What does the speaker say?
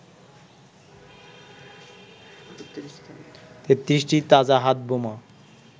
৩৩টি তাজা হাত বোমা